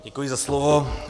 Děkuji za slovo.